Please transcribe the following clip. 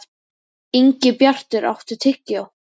Ingibjartur, áttu tyggjó?